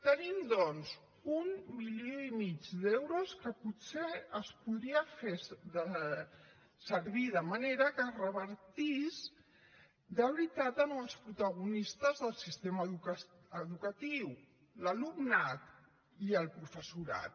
tenim doncs un milió i mig d’euros que potser es podrien fer servir de manera que revertís de veritat en els protagonistes del sistema educatiu l’alumnat i el professorat